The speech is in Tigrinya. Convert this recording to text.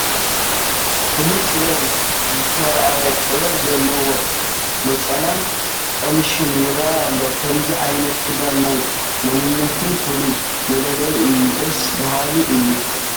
ፍሉይ ጥበብ ዝተራእዮ ጥበብ ዘለዎ ነፀላን ቀምሽን ይርአ ኣሎ፡፡ ከምዚ ዓይነት ክዳን ናይ መንነትና ፍሉይ መለለዪ እዩ፡፡ ደስ በሃሊ እዩ፡፡